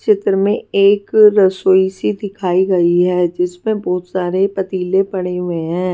चित्र में एक रसोई सी दिखाई गई है जिसपे बहुत सारे पतीले पड़े हुए हैं।